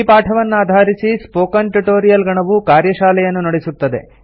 ಈ ಪಾಠವನ್ನಾಧಾರಿಸಿ spoken tutorial ಗಣವು ಕಾರ್ಯಶಾಲೆಯನ್ನು ನಡೆಸುತ್ತದೆ